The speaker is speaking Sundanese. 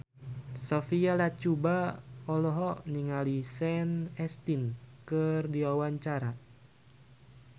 Sophia Latjuba olohok ningali Sean Astin keur diwawancara